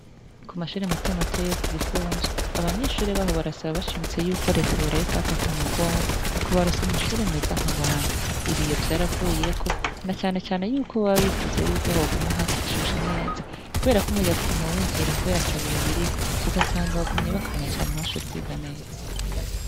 Ku mashure matomato yo ku gifunzo aba nyeshure baho barasaba bashimitse yuko reta yorayika bafatako umugongo mu kubarosa amashure meza nk'abandi ibiyo vyaravuyeko na canecane yuko bababifuza yuko hoguma hashushe neza, kubera ko umuyanga uguma winjira, kubera atabiyo biriko ugasanga wagumye bakanye cane ntibashore ukwiga neza.